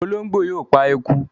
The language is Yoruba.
Olóńgbó yóò pa eku.